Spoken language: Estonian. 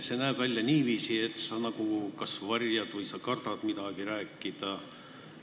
See näeb välja niiviisi, et sa kas varjad midagi või sa kardad midagi rääkida.